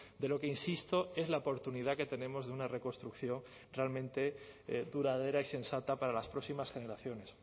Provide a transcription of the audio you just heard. de lo que insisto es la oportunidad que tenemos de una reconstrucción realmente duradera y sensata para las próximas generaciones